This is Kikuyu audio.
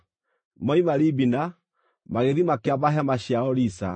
Moima Libina, magĩthiĩ makĩamba hema ciao Risa.